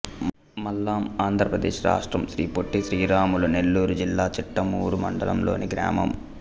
మల్లాం ఆంధ్ర ప్రదేశ్ రాష్ట్రం శ్రీ పొట్టి శ్రీరాములు నెల్లూరు జిల్లా చిట్టమూరు మండలం లోని గ్రామం